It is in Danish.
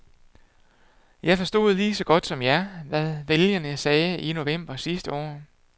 Jeg forstod lige så godt som jer, hvad vælgerne sagde i november sidste år.